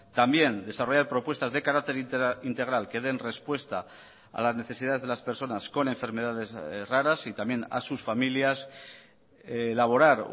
también desarrollar propuestas de carácter integral que den respuesta a las necesidades de las personas con enfermedades raras y también a sus familias elaborar